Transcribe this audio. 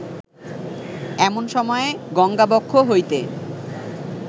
এমন সময়ে গঙ্গাবক্ষ হইতে